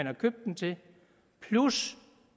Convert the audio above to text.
har købt dem til plus